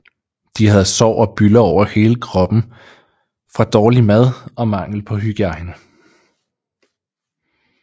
De havde sår og bylder over hele kroppen fra dårlig mad og mangel på hygiejne